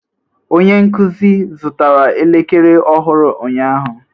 Onye nkuzi zụtara elekere ọhụrụ ụnyaahụ?